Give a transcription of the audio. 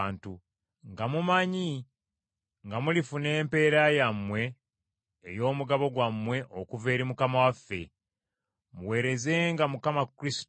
nga mumanyi nga mulifuna empeera yammwe ey’omugabo gwammwe okuva eri Mukama waffe. Muweerezenga Mukama Kristo;